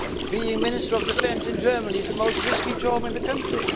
Being Minister of Defence in Germany is the most risky job in the country.